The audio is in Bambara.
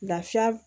Lafiya